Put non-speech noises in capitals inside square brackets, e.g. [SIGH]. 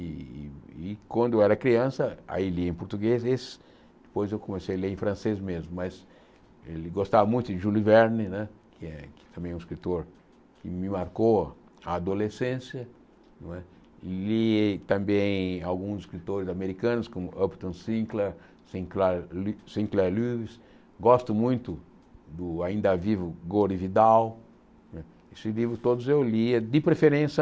E e e quando eu era criança, aí li em português, [UNINTELLIGIBLE] depois eu comecei a ler em francês mesmo, mas ele gostava muito de Jules Verne n é, que também é um escritor que me marcou a adolescência, não é li também alguns escritores americanos, como Upton Sinclair, Sinclair Sinclair Lewis, gosto muito do Ainda Vivo, Gore Vidal, né esses livros todos eu lia, de preferência...